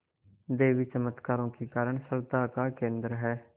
देवी चमत्कारों के कारण श्रद्धा का केन्द्र है